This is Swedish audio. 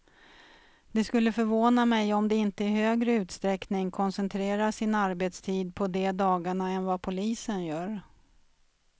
Det skulle förvåna mig om de inte i högre utsträckning koncentrerar sin arbetstid på de dagarna än vad polisen gör.